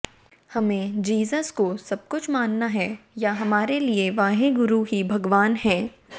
हमें जीसस को सबकुछ मानना है या हमारे लिए वाहे गुरु ही भगवान हैं